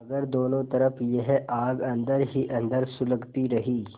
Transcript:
मगर दोनों तरफ यह आग अन्दर ही अन्दर सुलगती रही